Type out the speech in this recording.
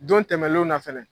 Don tɛmɛnlen na fana